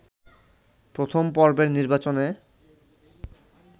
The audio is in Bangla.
প্রথম পর্বের নির্বাচনে